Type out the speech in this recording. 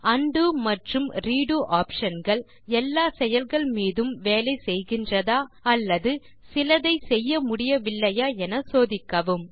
உண்டோ மற்றும் redo options எல்லா செயல்கள் மீதும் வேலை செய்கின்றதா அல்லது சிலதை செய்ய முடியவில்லையா என சோதிக்கவும்